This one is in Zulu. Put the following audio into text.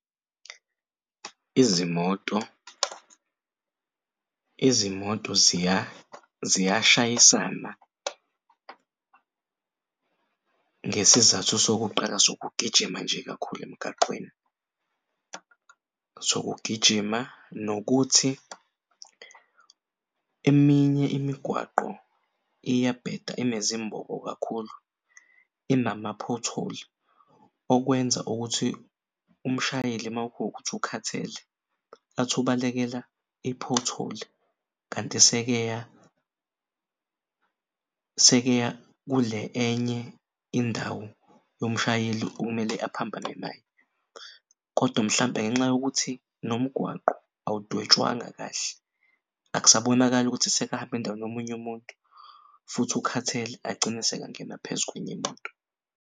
Izimoto ziyashayisana ngesizathu sokuqala sokugijima nje kakhulu emgaqweni sokugijima eminye imigwaqo iyabheda inezimbobo kakhulu inama-pothhole okwenza ukuthi umshayeli makuwukuthi ukhathele athi ubalekela i-pothole kanti sekeya kule enye indawo yomshayeli okumele aphambane naye. Kodwa mhlampe ngenxa yokuthi nomgwaqo awudwetshwanga kahle akusabonakali ukuthi sekahamb'endaweni yomunye umuntu futhi ukhathele agcine sekangena phezu kwenyi'moto.